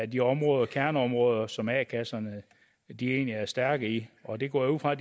de områder kerneområder som a kasserne egentlig er stærke i og det går jeg ud fra